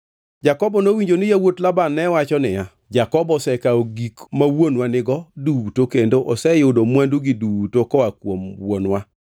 Jakobo nowinjo ni yawuot Laban ne wacho niya, “Jakobo osekawo gik ma wuonwa nigo duto kendo oseyudo mwandugi duto koa kuom wuonwa.”